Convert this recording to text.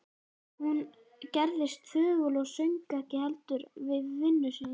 Hún gerðist þögul og söng ekki lengur við vinnu sína.